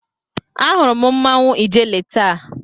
Ahụrụ m mmanwụ ijele taa.